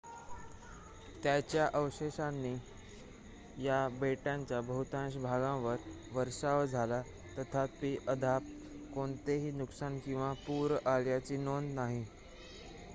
त्याच्या अवशेषांचा या बेटांच्या बहुतांश भागांवर वर्षाव झाला तथापि अद्याप कोणतेही नुकसान किंवा पूर आल्याची नोंद नाही